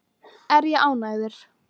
Er ég ánægður?